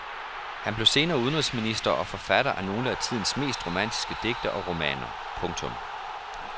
Han blev senere udenrigsminister og forfatter af nogle af tidens mest romantiske digte og romaner. punktum